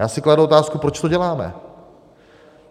Já si kladu otázku, proč to děláme.